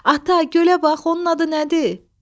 Ata, gölə bax, onun adı nədir?